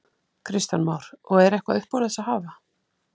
Kristján Már: Og er eitthvað upp úr þessu að hafa?